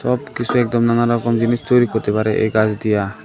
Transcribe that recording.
সব কিছু একদম নানা রকম জিনিস তৈরি করতে পারে এই গাছ দিয়া।